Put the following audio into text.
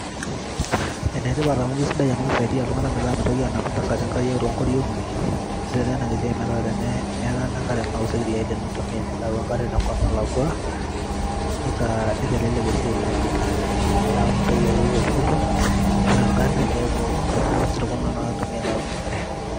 ene tipat amu kisaidia iltunganak metaa mitoki aanap ingariak too nkoriong'i. ore taa ena siai naa tenemetaana enkare naa osikiria ake intumia tenilo ayau enkare te nkop nalakua, nitelelek esiai naijo ina. neeku mintoki ayieu oltukutuk, ashu agari keeku isirkon ake intumia alo ayaunye enkare.